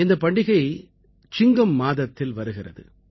இந்தப் பண்டிகை சிங்கம் மாதத்தில் வருகிறது